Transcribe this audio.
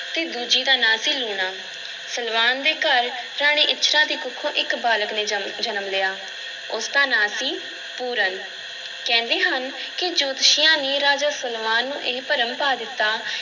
ਅਤੇ ਦੂਜੀ ਦਾ ਨਾਂ ਸੀ ਲੂਣਾ, ਸਲਵਾਨ ਦੇ ਘਰ ਰਾਣੀ ਇੱਛਰਾਂ ਦੀ ਕੁੱਖੋਂ ਇੱਕ ਬਾਲਕ ਨੇ ਜਮ ਜਨਮ ਲਿਆ, ਉਸਦਾ ਨਾਂ ਸੀ ਪੂਰਨ, ਕਹਿੰਦੇ ਹਨ ਕਿ ਜੋਤਸ਼ੀਆਂ ਨੇ ਰਾਜਾ ਸਲਵਾਨ ਨੂੰ ਇਹ ਭਰਮ ਪਾ ਦਿੱਤਾ